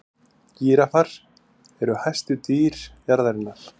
gíraffar eru hæstu dýr jarðarinnar